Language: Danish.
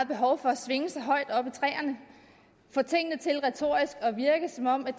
behov for at svinge sig højt op i træerne og at virke som om de